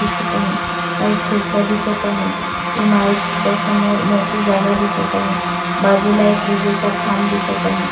दिसत आहे काही खिडक्या दिसत आहे इमारतीच्या समोर मोकळी जागा दिसत आहे बाजूला एक विजेचा खांब दिसत आहे.